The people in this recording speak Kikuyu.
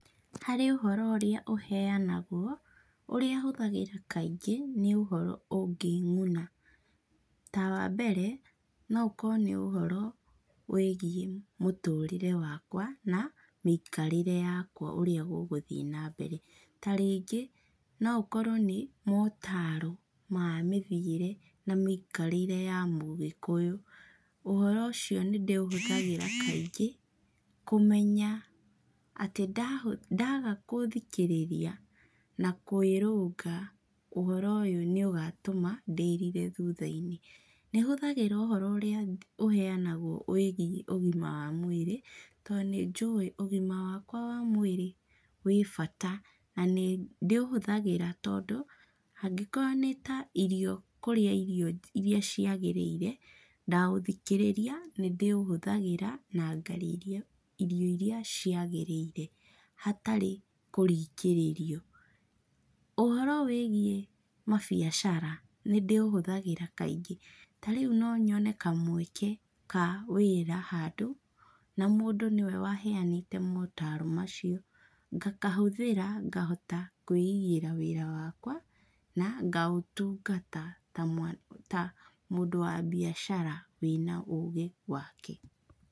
Harĩ ũhoro ũrĩa ũheanagwo ũrĩa hũthagĩra kaingĩ nĩ ũhoro ũngĩng'una, ta wa mbere no ũkorũo nĩ ũhoro wĩgiĩ mũtũrĩre wakwa na mĩikarĩre yakwa ũrĩa gũgũthiĩ na mbere. Ta rĩngi no ũkorũo nĩ motaaro ma mĩthiĩre na mĩikarĩre ya mũgĩkũyũ. Ũhoro ũcio nĩ ndĩuthikagĩra kaingĩ kũmenya atĩ ndagagũthikĩrĩria na kwĩrũnga ũhoro ũyũ nĩ ũgatũma ndĩrire thutha-inĩ. Nĩ hũthagĩra ũhoro ũrĩa ũheanagũo wĩgiĩ ũgima wa mũĩrĩ tondũ nĩ njũi ũgima wakwa wa mwĩrĩ wĩ bata na nĩ ndĩũhũthagĩra tondũ angĩkorũo nĩ ta irio kũrĩa irio irĩa ciagĩrĩire, ndaũthikĩrĩria nĩ ndĩũhũthagĩra na ngarĩa irio irĩa ciagĩrĩire hatarĩ kũringĩrĩrio. Ũhoro wĩgiĩ mabiacara nĩ ndĩũhũthagĩra kaingĩ. Ta rĩu no nyone ka mweke ka wĩra handũ na mũndũ nĩwe waheanĩte motaaro macio, ngakahũthĩra ngahota kwĩigĩra wĩra wakwa na ngaũtungata ta mũndũ wa biacara wĩna ũgĩ wake.